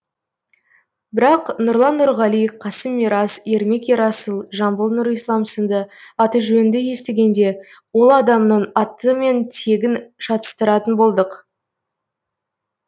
бірақ нұрлан нұрғали қасым мирас ермек ерасыл жамбыл нұрислам сынды аты жөнді естігенде ол адамның аты мен тегін шатасыратын болдық